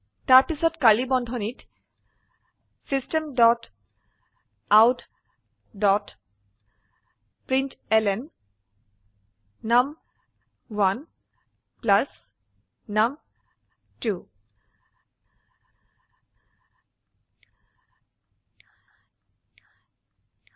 তাৰপিছত কাৰ্ড়লী বন্ধনীত system dot out dot println নুম1 প্লাস নুম2